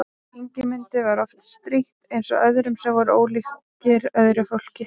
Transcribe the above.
Ingimundi var oft strítt eins og öðrum sem voru ólíkir öðru fólki.